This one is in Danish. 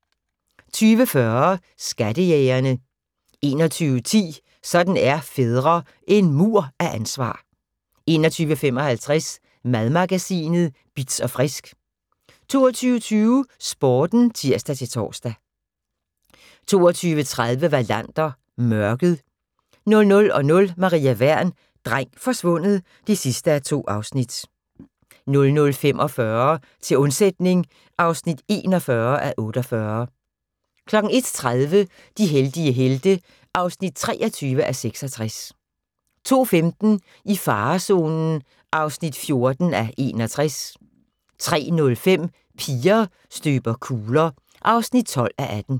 20:40: Skattejægerne 21:10: Sådan er fædre – En mur af ansvar 21:55: Madmagasinet Bitz & Frisk 22:20: Sporten (tir-tor) 22:30: Wallander: Mørket 00:00: Maria Wern: Dreng forsvundet (2:2) 00:45: Til undsætning (41:48) 01:30: De heldige helte (23:66) 02:15: I farezonen (14:61) 03:05: Piger støber kugler (12:18)